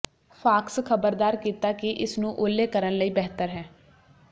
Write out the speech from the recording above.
fox ਖ਼ਬਰਦਾਰ ਕੀਤਾ ਕਿ ਇਸ ਨੂੰ ਓਹਲੇ ਕਰਨ ਲਈ ਬਿਹਤਰ ਹੈ